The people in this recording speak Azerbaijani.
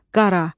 qara.